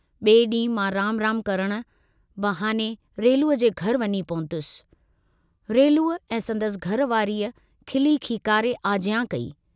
बिए डींहं मां राम राम करण बहाने रेलूअ जे घर वञी पहुतुस, रेलूअ ऐं संदसि घर वारीअ खिली खीकारे आजयां कई।